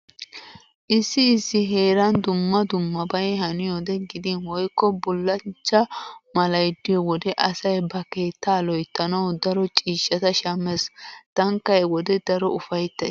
Issi issi heeran dumma dummabay haniyode gidin woykko bullachcha malay diyo wode asay ba keettaa loyttanawu daro ciishshata shammees. Taanikka he wode daro ufayttays.